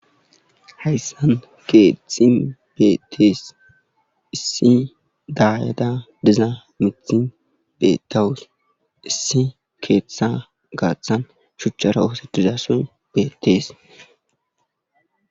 Hayssan keethtxin beettees issi daayada diza mithin bettawus issi keethetha gaaththan shuchchara oosedizasoy beettees